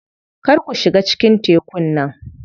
Kar ku shiga cikin tekun nan.